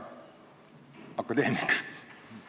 Hea akadeemik!